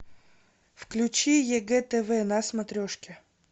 включи егэ тв на смотрешке